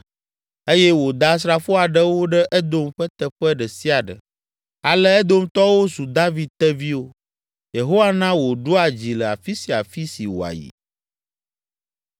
eye wòda asrafo aɖewo ɖe Edom ƒe teƒe ɖe sia ɖe. Ale Edomtɔwo zu David teviwo. Yehowa na wòɖua dzi le afi sia afi si wòayi.